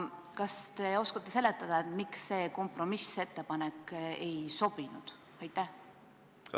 Kas te oskate seletada, et miks see kompromissettepanek ei sobinud?